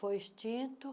Foi extinto.